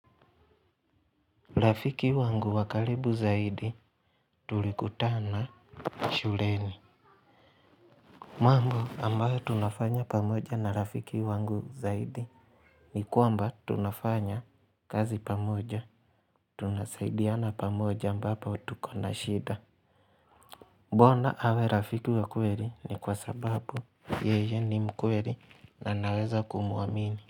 Rafiki wangu wa karibu zaidi tulikutana shuleni. Mambo ambayo tunafanya pamoja na rafiki wangu zaidi ni kuamba tunafanya kazi pamoja. Tunasaidiana pamoja ambapo tuko na shida. Mbona awe rafiki wa kweli ni kwa sababu yeye ni mkweli na naweza kumwamini.